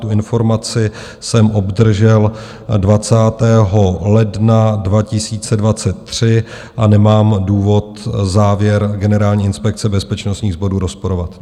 Tu informaci jsem obdržel 20. ledna 2023 a nemám důvod závěr Generální inspekce bezpečnostních sborů rozporovat.